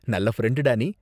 நல்ல ஃப்ரெண்டு டா நீ.